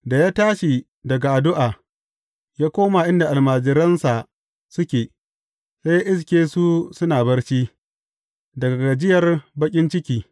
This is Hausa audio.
Da ya tashi daga addu’a, ya koma inda almajiransa suke, sai ya iske su suna barci, daga gajiyar baƙin ciki.